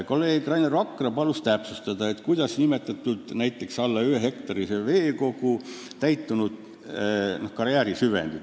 Kolleeg Rainer Vakra palus täpsustada, kuidas nimetada alla ühehektarilist veekogu, näiteks karjäärisüvendit.